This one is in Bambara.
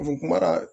kuma na